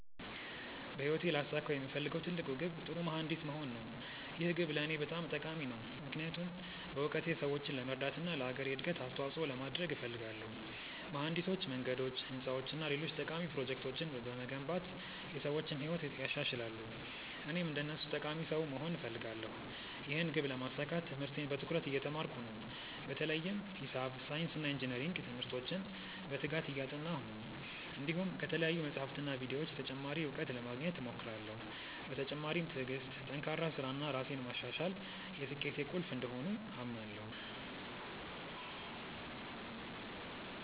በህይወቴ ላሳካው የምፈልገው ትልቅ ግብ ጥሩ መሀንዲስ መሆን ነው። ይህ ግብ ለእኔ በጣም ጠቃሚ ነው፣ ምክንያቱም በእውቀቴ ሰዎችን ለመርዳት እና ለአገሬ እድገት አስተዋፅኦ ለማድረግ እፈልጋለሁ። መሀንዲሶች መንገዶች፣ ህንፃዎች እና ሌሎች ጠቃሚ ፕሮጀክቶችን በመገንባት የሰዎችን ህይወት ያሻሽላሉ፣ እኔም እንደነሱ ጠቃሚ ሰው መሆን እፈልጋለሁ። ይህን ግብ ለማሳካት ትምህርቴን በትኩረት እየተማርኩ ነው፣ በተለይም ሂሳብ፣ ሳይንስ እና ኢንጅነሪንግ ትምህርቶችን በትጋት እያጠናሁ ነው። እንዲሁም ከተለያዩ መጻሕፍትና ቪዲዮዎች ተጨማሪ እውቀት ለማግኘት እሞክራለሁ። በተጨማሪም ትዕግሥት፣ ጠንካራ ሥራ እና ራሴን ማሻሻል የስኬቴ ቁልፍ እንደሆኑ አምናለሁ።